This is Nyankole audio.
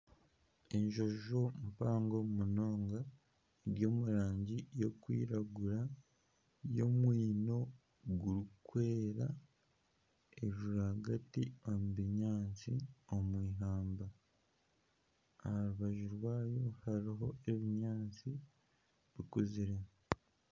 Enjonjo mpango munonga eri omu rangi y'okwiragura eine omwino gurikwera, eri rwagati omu binyaatsi omu ihamba aha rubaju rwayo hariho ebinyaatsi bikuzire